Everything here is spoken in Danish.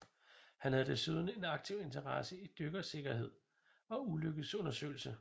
Han havde desuden en aktiv interesse i dykkersikkerhed og ulykkesundersøgelse